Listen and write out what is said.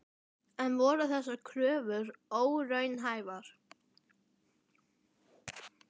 En voru þessar kröfur óraunhæfar?